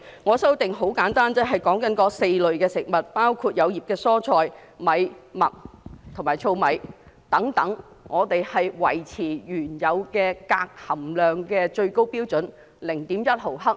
我的修訂很簡單，便是對於這4類食物，包括葉菜類蔬菜、精米、小麥和糙米，我們要維持原有最高鎘含量標準 0.1 毫克。